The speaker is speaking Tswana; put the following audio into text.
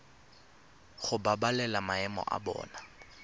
go babalela maemo a bona